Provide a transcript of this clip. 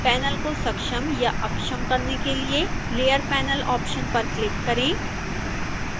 panel को सक्षम या अक्षम करने के लिए layer panel ऑप्शन पर क्लिक करें